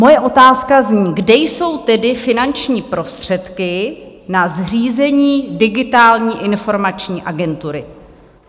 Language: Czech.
Moje otázka zní: Kde jsou tedy finanční prostředky na zřízení Digitální informační agentury?